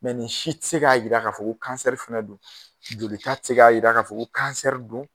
nin si tɛ se k'a jira ko fana don jolita tɛ se k'a jira k'a fɔ ko don